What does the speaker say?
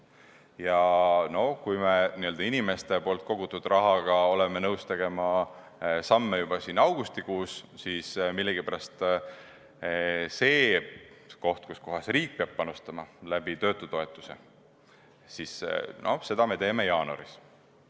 Ja kui me oleme nõus inimeste kogutud raha suhtes astuma samme juba augustikuus, siis millegipärast seda, kus riik peab panustama töötutoetuse kaudu, me arutame jaanuaris.